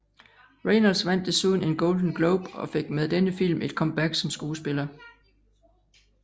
Reynolds vandt desuden en Golden Globe og fik med denne film et comeback som skuespiller